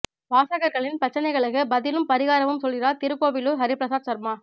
வாசகா்களின் பிரச்னைகளுக்கு பதிலும் பாிகாரமும் சொல்கிறாா் திருக்கோவிலூர் ஹரிபிரசாத் சர்மா